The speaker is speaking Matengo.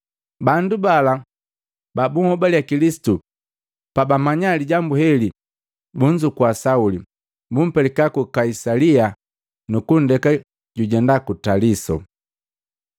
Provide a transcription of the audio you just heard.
Bandu bala babubobale Kilisitu pabamanya lijambu heli, bunzukua Sauli, bumpelika ku Kaisalia, nukunndeka jujenda ku Taliso.